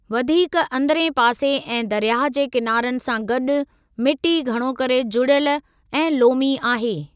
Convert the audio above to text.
वधीक अंदरिएं पासे ऐं दरयाह जे किनारनि सां गॾु, मिटी घणो करे जुड़ियल ऐं लोमी आहे।